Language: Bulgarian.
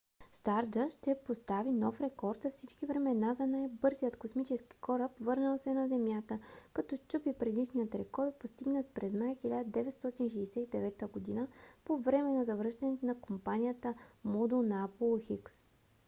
стардъст ще постави нов рекорд за всички времена за най-бързият космически кораб върнал се на земята като счупи предишния рекорд постигнат през май 1969 г. по време на завръщането на командния модул на аполо x